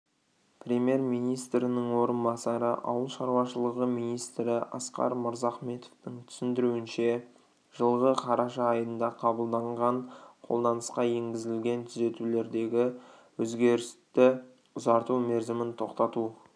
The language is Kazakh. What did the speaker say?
премьер-министрінің орынбасары ауыл шаруашылығы министрі асқар мырзахметовтың түсіндіруінше жылғы қараша айында қабылданған қолданысқа енгізілген түзетулердегі өзерісті ұзарту мерзімін тоқтату